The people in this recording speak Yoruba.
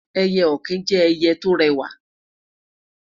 eye okin jẹ ẹyẹ to rẹwa